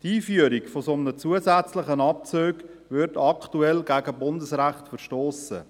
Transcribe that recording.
Die Einführung eines solchen zusätzlichen Abzugs würde aktuell gegen Bundesrecht verstossen.